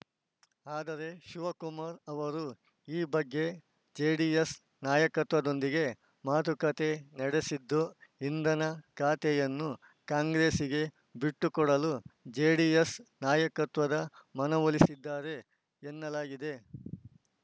ಆದರೆ ಶಿವಕುಮಾರ್‌ ಅವರು ಈ ಬಗ್ಗೆ ಜೆಡಿಎಸ್‌ ನಾಯಕತ್ವದೊಂದಿಗೆ ಮಾತುಕತೆ ನಡೆಸಿದ್ದು ಇಂದನ ಖಾತೆಯನ್ನು ಕಾಂಗ್ರೆಸ್‌ಗೆ ಬಿಟ್ಟುಕೊಡಲು ಜೆಡಿಎಸ್‌ ನಾಯಕತ್ವದ ಮನವೊಲಿಸಿದ್ದಾರೆ ಎನ್ನಲಾಗಿದೆ